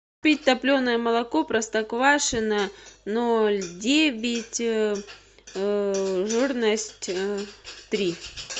купить топленое молоко простоквашино ноль девять жирность три